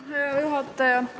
Hea juhataja!